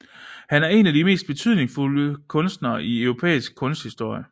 Han er en af de mest betydningsfulde kunstnere i europæisk kunsthistorie